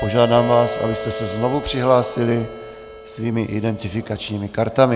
Požádám vás, abyste se znovu přihlásili svými identifikačními kartami.